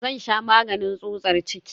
Zan sha maganin tsutsar ciki.